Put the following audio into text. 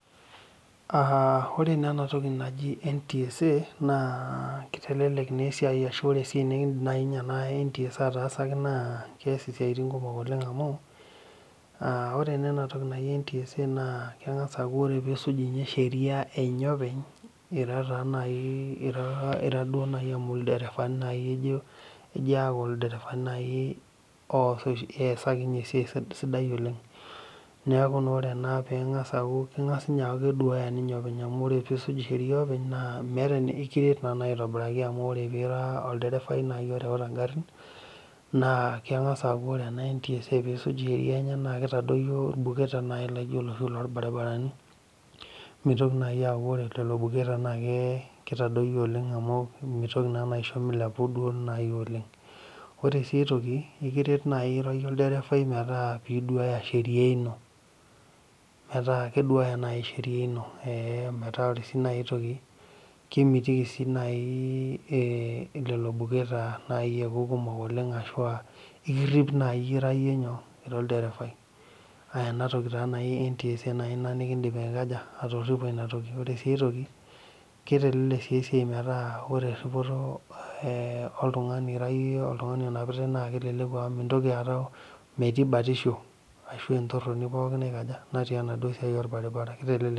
Aah ore naa ena toki na ntsa naa keitelelek esiai amu ore esiai nikindiim ena ntsa ataasaki naa keitelelek isiatin amu aa ore naa ena toki naji ntsa ore pee isuj sheria enye openy amu ilderevani naaji ejo aaku eesakini esiai sidai oleng niaku naa ore ena keng'as aaku keduaya ninye openy amu ore peisuj sheria openy amu ira naa olderefai oreuta ingarin naa keng'as aaku ore ena ntsa peeisuj sheria naa keitadoyu irbuketa laijio iloshi rorbaribarani meitoki aaku keitadoyio ore sii ae toki naa ekiret naaji iyie olderevafai naa keduaaya sheria ino metaa ore naaji ae toki kemitiki sii naaji lelo buketa ekuku kumok ekirip sii naaji iyie ira olderevai ena toki taa naji ntsa naidim atoripo ina toki ere sii ae toki keitelelek sii ae toki metaa ore iripoto metaa ore oltung'ani onapitai mintoki aata mietii batisho ashua entoroni natii enaduo siai orbaribara